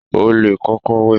O lè kókó wẹ̀.